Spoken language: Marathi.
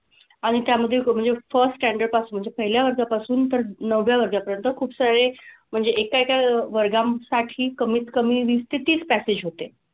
आणि त्यामधे म्हणजे first standard पासून म्हणजे पहिल्या वर्गापासून तर नवव्या वर्गापर्यंत खूपसारे म्हणजे एका एका वर्गासाठी कमीत कमी वीस ते तीस package होते.